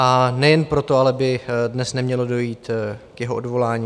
A nejen proto ale by dnes nemělo dojít k jeho odvolání.